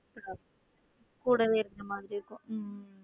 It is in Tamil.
கூடவே இருக்கிற மாதிரி இருக்கும் உம்